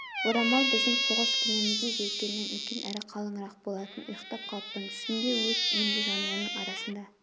орамал біздің соғыс кемеміздің желкенінен үлкен әрі қалыңырақ болатын ұйықтап қалыппын түсімде өз үйімде жанұямның арасында